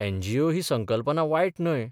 NGO ही संकल्पना वायट न्हय.